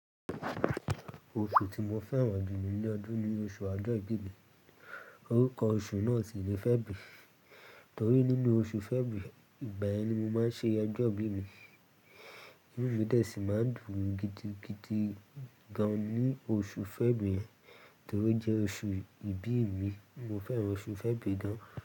Oṣù tí mo fẹ́ràn jù nínú ọdún ni oṣù ọjọ ìbí mí. Orúkọ oṣù náà si ni February, torí nínú oṣù February, ìgbà yẹn ni mo máa ń ṣe ojọ́ ìbí mi. Ìnúmi dẹ̀ sí máa ń dùn gidigidi gan an ní oṣù February, torí ọ jẹ́ oṣù ìbí mi. Mo fẹ́ràn oṣù February gan.